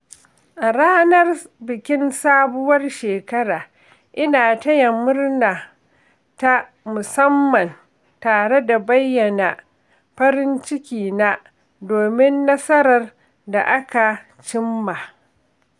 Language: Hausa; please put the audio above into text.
A ranar bikin sabuwar shekara, ina taya murna ta musamman tare da bayyana farin cikina domin nasarar da aka cimma.